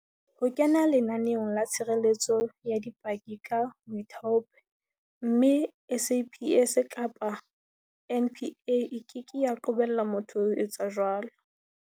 Ho kena lenaneong la tshireletso ya dipaki ke ka boithaopo, mme SAPS kapa NPA e keke ya qobella motho ho etsa jwalo.